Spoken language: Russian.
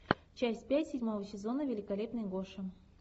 часть пять седьмого сезона великолепный гоша